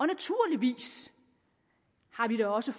naturligvis har vi da også